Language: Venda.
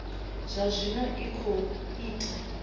zwa zwino i khou ita